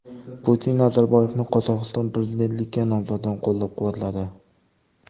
Putin Nazarboyevning Qozog‘iston prezidentligiga nomzodini qo‘llab-quvvatladi.